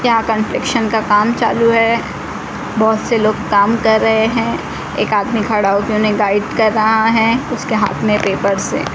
यहां कंस्ट्रक्शन का काम चालु है बहोत से लोग काम कर रहे है एक आदमी खड़ा होके उन्हें गाइड कर रहा है उसके हाथ में पेपर्स है।